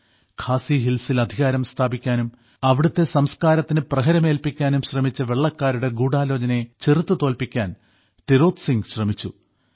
ഖാസി ഹിൽസിൽ അധികാരം സ്ഥാപിക്കാനും അവിടത്തെ സംസ്കാരത്തിന് പ്രഹരം ഏൽപ്പിക്കാനും ശ്രമിച്ച വെള്ളക്കാരുടെ ഗൂഢാലോചനയെ ചെറുത്തു തോൽപ്പിക്കാൻ ടിരോത് സിംഗ് ശ്രമിച്ചു